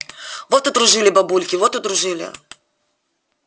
вот удружили бабульки вот удружили